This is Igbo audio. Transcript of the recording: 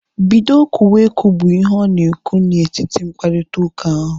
Bido kwuwe okwu! Bụ ihe ọ ga ekwu na etiti mkparịta ụka ahu